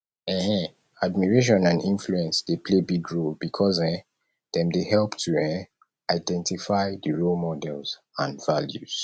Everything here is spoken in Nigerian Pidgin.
um admiration and influence dey play big role because um dem dey help to um identify di role models and values